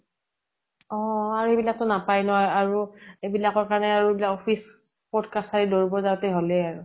অহ আৰু এইবিলাক টো নাপায় ন আৰু এইবিলাকৰ কাৰণে আৰু office court কাচাৰী দৌৰিব যাও তে হলে আৰু।